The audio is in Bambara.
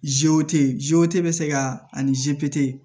bɛ se ka ani